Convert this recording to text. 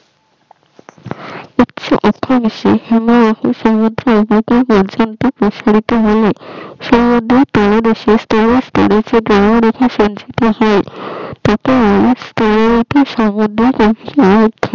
পর্যন্ত প্রসাহিত বলে সমুদ্রের